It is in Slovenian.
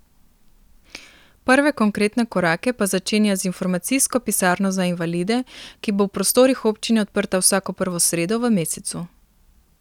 Prve konkretne korake pa začenja z Informacijsko pisarno za invalide, ki bo v prostorih občine odprta vsako prvo sredo v mesecu.